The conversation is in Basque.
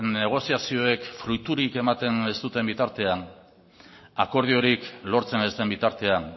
negoziazioek fruiturik ematen ez duten bitartean akordiorik lortzen ez den bitartean